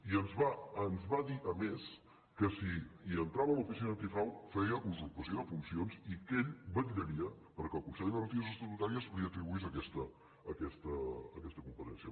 i ens va dir a més que si entrava l’oficina antifrau feia usurpació de funcions i que ell vetllaria perquè el consell de garanties estatutàries li atribuís aquesta competència